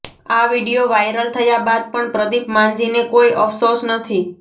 આ video viral થયા બાદ પણ પ્રદીપ માંઝીને કોઈ અફસોસ નથી